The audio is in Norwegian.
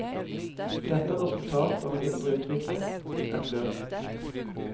Dette er et resultat av en indre utvikling, et løp.